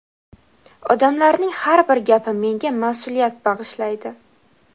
Odamlarning har bir gapi menga mas’uliyat bag‘ishlaydi.